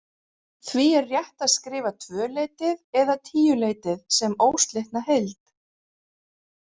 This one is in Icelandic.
Því er rétt að skrifa tvöleytið eða tíuleytið sem óslitna heild.